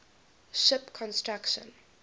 ship construction